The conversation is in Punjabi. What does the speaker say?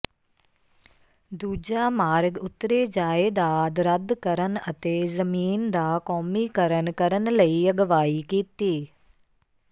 ਦੂਜਾ ਮਾਰਗ ਉਤਰੇ ਜਾਇਦਾਦ ਰੱਦ ਕਰਨ ਅਤੇ ਜ਼ਮੀਨ ਦਾ ਕੌਮੀਕਰਨ ਕਰਨ ਲਈ ਅਗਵਾਈ ਕੀਤੀ